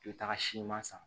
I bɛ taga siman san